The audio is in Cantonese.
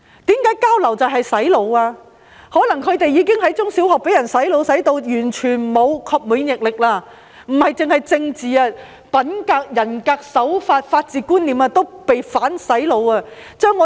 他們可能已在中小學被"洗腦"至完全沒有免疫力，不止是政治，品格、人格、手法、法治觀念也被"反洗腦"。